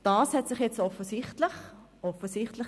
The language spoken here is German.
Das hat sich jetzt offensichtlich ein bisschen verändert.